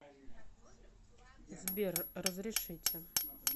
сбер разрешите